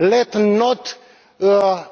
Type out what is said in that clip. Let us not